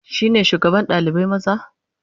Shi ne shugaban ɗalibai maza?